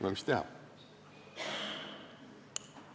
No mis teha?